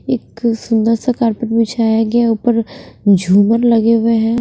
एक सुंदर सा कार्पेट बिछाया गया ऊपर झूमन लगे हुआ है।